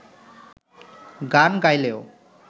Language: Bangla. গান গাইলেও